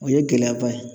O ye gɛlɛyaba ye